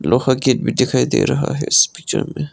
लोहा गेट भी दिखाई दे रहा है इस पिक्चर में।